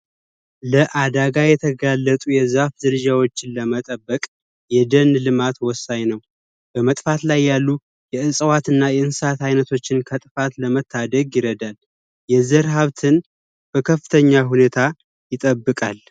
ለአደጋ የተጋለጡ የዛፍ ዝርያዎችን ለመጠበቅ የደን ልማት ወሳኝ ነው፤ በመጥፋት ላይ ያሉ የእጽዋትና የእንስሳት አይነቶችን ከጥፋት ለመታደግ ይረዳል። የዘር ሀብትን በከፍተኛ ሁኔታ ይጠብቃል።